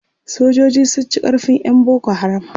sojoji sun ci karfin ƴan boko haram